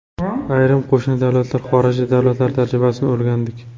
Ayrim qo‘shni davlatlar, xorijiy davlatlar tajribasini o‘rgandik.